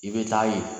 I bɛ taa ye